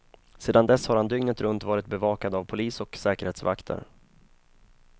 Sedan dess har han dygnet runt varit bevakad av polis och säkerhetsvakter.